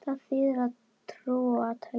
Þar þýðir trúa: telja, álíta.